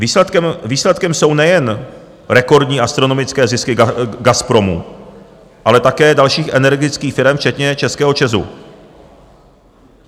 Výsledkem jsou nejen rekordní, astronomické zisky Gazpromu, ale také dalších energických firem, včetně českého ČEZu.